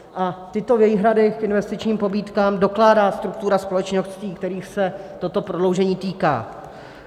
A tyto výhrady k investičním pobídkám dokládá struktura společností, kterých se toto prodloužení týká.